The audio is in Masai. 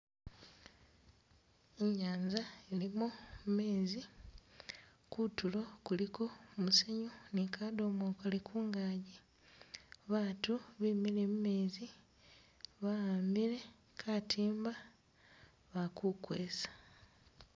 I'nyanza ilimo mezi, kutuulo kuliko musenyu nikadomokele ku'ngaji, batu bemile mumetsi ba a'ambile katimba bakukwesa